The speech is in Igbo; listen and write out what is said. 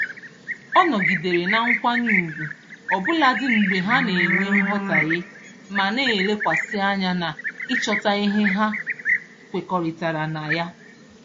Ọ nọgidere na nkwanye ugwu ọbụladị mgbe ha na-enwe nghọtaghie ma na-elekwasị anya n'ịchọta ihe ha kwekọrịtara na ya.